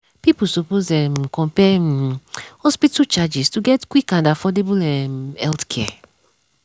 people suppose um compare um hospital charges to get quick and affordable um healthcare.